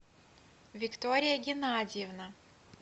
виктория геннадьевна